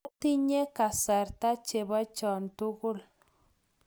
matinye kasarta chebo cho tugul